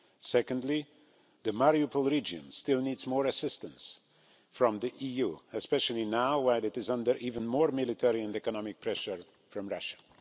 Secondly, the Mariupol region still needs more assistance from the EU, especially now while it is under even more military and economic pressure from Russia.